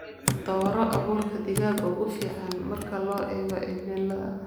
Dooro abuurka digaaga ugu fiican marka loo eego cimilada.